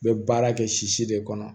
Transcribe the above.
N bɛ baara kɛ sisi de kɔnɔ